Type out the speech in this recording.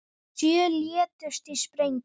Sjö létust í sprengingu